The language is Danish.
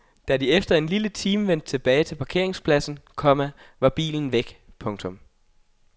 Da de efter en lille time vendte tilbage til parkeringspladsen, komma var bilen væk. punktum